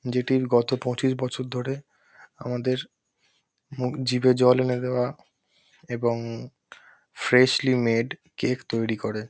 যেটির গত পঁচিশ বছর ধরে আমাদের মুখ জিভে জল এনে দেওয়া এবং ফ্রেশলি মেড কেক তৈরী করে।